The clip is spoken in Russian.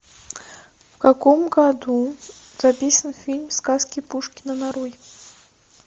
в каком году записан фильм сказки пушкина нарой